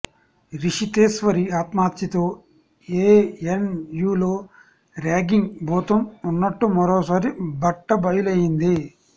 రిషితేశ్వరి ఆత్మహత్యతో ఏఎన్ యూలో ర్యాగింగ్ భూతం ఉన్నట్టు మరోసారి బట్టబయలయింది